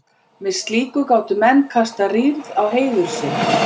með slíku gátu menn kastað rýrð á heiður sinn